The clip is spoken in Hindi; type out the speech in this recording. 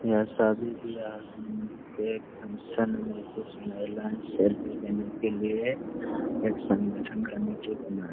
यह शादी ब्याह के फंक्शन मे कुछ महिलायें सेल्फ़ी लेने के लिए एक संगठन कमिटी बनाए ।